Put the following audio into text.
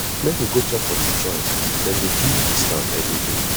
make we go chop for di joint dem dey give discount everyday